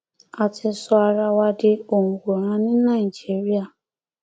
a ti sọ ara wa di òǹwòran ní nàìjíríà